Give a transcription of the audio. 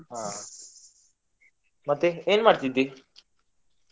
ಹಾ ಮತ್ತೆ ಏನ್ ಮಾಡ್ತಿದ್ದಿ?